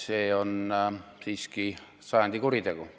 See on siiski sajandi kuritegu.